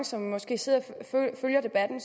som måske sidder og følger debatten